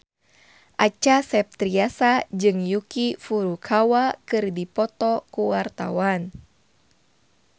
Acha Septriasa jeung Yuki Furukawa keur dipoto ku wartawan